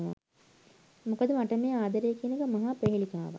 මොකද මට මේ ආදරය කියන එක මහා ප්‍රෙහෙලිකාවක්.